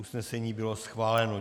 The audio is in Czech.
Usnesení bylo schváleno.